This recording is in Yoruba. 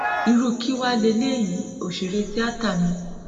irú kí wàá lélẹyìí òṣèré tíáta mi